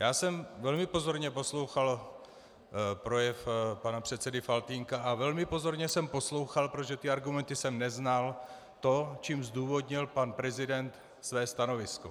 Já jsem velmi pozorně poslouchal projev pana předsedy Faltýnka a velmi pozorně jsem poslouchal, protože ty argumenty jsem neznal, to, čím zdůvodnil pan prezident své stanovisko.